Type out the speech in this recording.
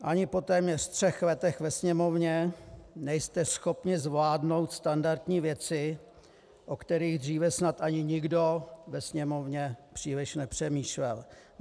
Ani téměř po třech letech ve Sněmovně nejste schopni zvládnout standardní věci, o kterých dříve snad ani nikdo ve Sněmovně příliš nepřemýšlel.